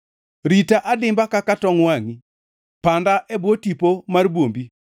Rita adimba kaka tong wangʼi, panda e bwo tipo mar bwombi,